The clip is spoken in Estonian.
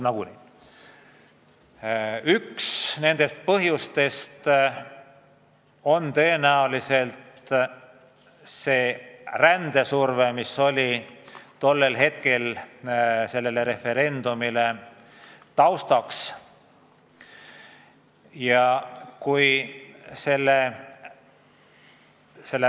Üks nendest on tõenäoliselt rändesurve, mis referendumi toimumise ajal oli.